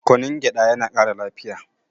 kunun gyaɗa yana Kara lafiya